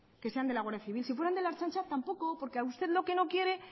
que sean de la guardia civil si fueran de la ertzaintza tampoco porque a usted lo que no quiere